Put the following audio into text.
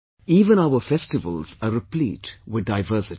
Even our festivals are replete with diversity